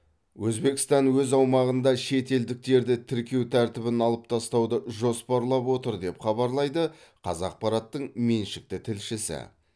өзбекстан өз аумағында шетелдіктерді тіркеу тәртібін алып тастауды жоспарлап отыр деп хабарлайды қазақпараттың меншікті тілшісі